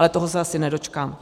Ale toho se asi nedočkám.